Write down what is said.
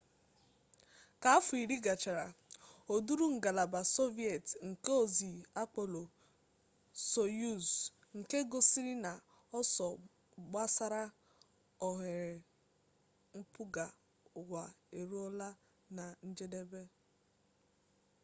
ka afọ iri gachara o duuru ngalaba sọviet nke ozi apolo soyuz nke gosiri na ọsọ gbasara oghere mpụga uwa eruola na njedebe